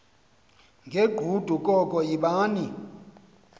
ngegqudu koko yibani